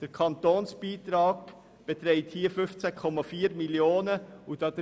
Der Kantonsbeitrag beträgt hier 15,4 Mio. Franken.